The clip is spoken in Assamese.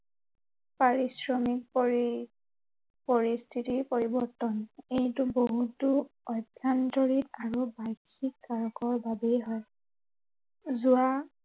পাৰিশ্ৰিমক পৰি, পৰিস্থিতিৰ পৰিৱৰ্তন। এইটো বহুতো অভ্য়ান্তৰীন আৰু বাৰ্ষিক কাৰকৰ বাবেই হয়। যোৱা